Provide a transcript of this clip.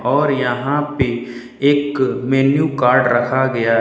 और यहां पे एक मैन्यू कार्ड रखा गया है।